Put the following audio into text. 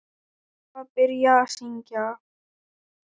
Svo var byrjað að syngja.